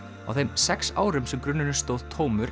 á þeim sex árum sem grunnurinn stóð tómur